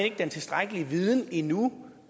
ikke den tilstrækkelige viden endnu